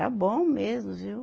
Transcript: bom mesmo, viu?